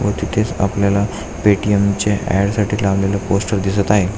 व तिथेच आपल्याला पेटीएम च्या ॲड साठी लागलेल पोस्टर आपल्याला दिसत आहे.